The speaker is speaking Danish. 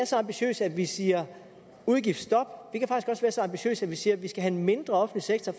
så ambitiøse at vi siger udgiftsstop og så ambitiøse at vi siger at vi skal have en mindre offentlig sektor